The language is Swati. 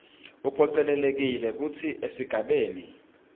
uphocelelekile kutsi esigabeni